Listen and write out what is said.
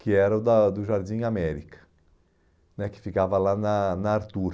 que era o do do Jardim América né, que ficava lá na na Artur.